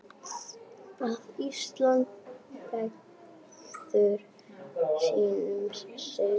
að Ísland bregður sínum sið